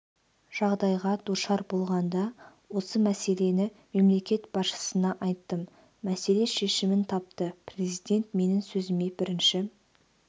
жағдайға душар болғанда осы мәселені мемлекет басшысына айттым мәселе шешімін тапты президент менің сөзіме бірінші